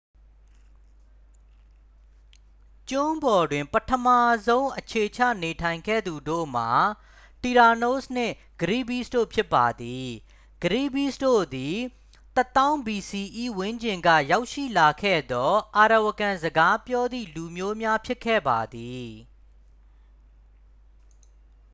ကျွန်းပေါ်တွင် ပထမဆုံးအခြေချနေထိုင်ခဲ့သူတို့မှာ တီရာနိုးစ် နှင့် ကရီဘီးစ် တို့ဖြစ်ပါသည်။ ကရီဘီးစ် တို့သည် ၁၀,၀၀၀ bce ဝန်းကျင်ကရောက်ရှိလာခဲ့သော arawakan-စကားပြောသည့်လူမျိုးများ ဖြစ်ခဲ့ပါသည်။